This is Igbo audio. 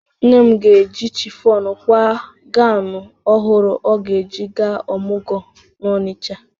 Nne m ga-eji chifọnụ kwaa ganwụ ọhụrụ ọ ga-eji gaa ọmụgwọ n'Ọnịcha.